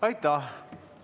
Aitäh!